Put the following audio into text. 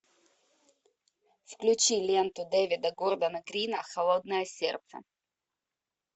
включи ленту дэвида гордона грина холодное сердце